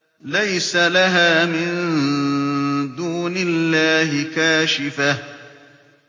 لَيْسَ لَهَا مِن دُونِ اللَّهِ كَاشِفَةٌ